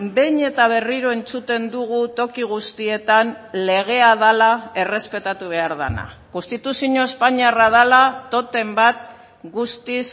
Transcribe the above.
behin eta berriro entzuten dugu toki guztietan legea dela errespetatu behar dena konstituzio espainiarra dela totem bat guztiz